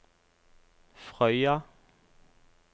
Frøya